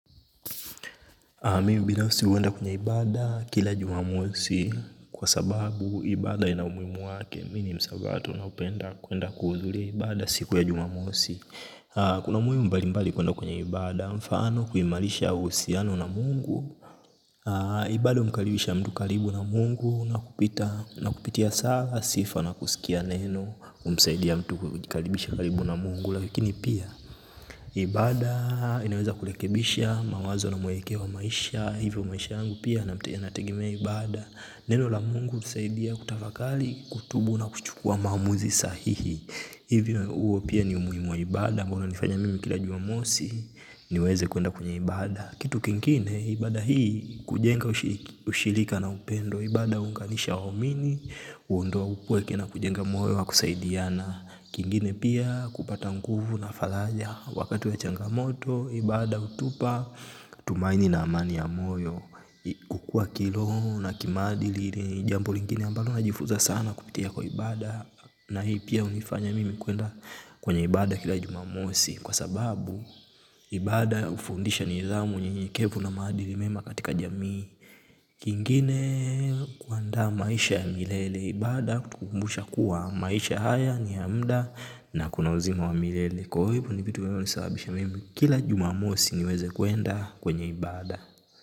Mimu binafsi huenda kwenye ibada kila Jumamosi kwa sababu ibada ina umuhimu wake. Mimi ni msabato na hupenda kuenda kuhudhuria ibada siku ya Jumamosi. Kuna umuhimu mbali mbali kuenda kwenye ibada mfano kuimarisha uhusiano na Mungu. Ibada humukaribisha mtu karibu na Mungu na kupitia sala, sifa na kusikia neno, humusaidia mtu kujikaribisha karibu na Mungu lakini pia ibada inaweza kurekebisha mawazo na mwelekeowa maisha. Hivyo maisha yangu pia nategmea ibada. Neno la Mungu hutusaidia kutafakari kutubu na kuchukua maamuzi sahihi. Hivyo huo pia ni umuhimu wa ibada ambao unanifanya mimi kila Jumamosi niweze kuenda kwenye ibada. Kitu kingine ibada hii hujenga ushirika na upendo. Ibada huunganisha waumini huondoa upweke na kujenga moyo wa kusaidiana. Kingine pia kupata nguvu na faraja wakati wa changamoto ibada hutupa tumaini na amani ya moyo. Kukua kiroho na kimaadili ni jambo lingine ambalo najifunza sana kupitia kwa ibada na hili pia hinifanya kuenda kwenye ibada kila Jumamosi, kwa sababu, ibada hufundisha nidhamu unyenyekevu na maadili mema katika jamii, kingine huandaa maisha ya milele, ibada hutukumbusha kuwa maisha haya ni ya muda na kuna uzima wa milele. Kwa hivyo ni vitu vinavyo sababisha mimi kila Jumamosi niweze kwenda kwenye ibada.